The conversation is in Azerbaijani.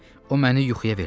O məni yuxuya verdi.